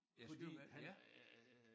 Fordi han øh